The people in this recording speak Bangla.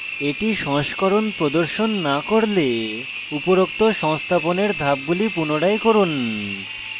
এটি সংস্করণ প্রদর্শন না করলে উপরোক্ত সংস্থাপনের ধাপগুলি পুনরায় করুন